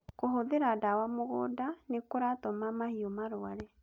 Kũhũthira dawa mũgũnda nĩ kũratũma mahiũ marware